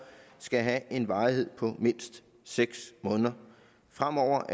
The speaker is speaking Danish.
skal have en varighed på mindst seks måneder fremover